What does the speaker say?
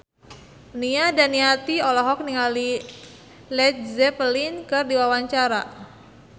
Nia Daniati olohok ningali Led Zeppelin keur diwawancara